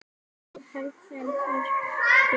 Það þarf enn meiri hörku!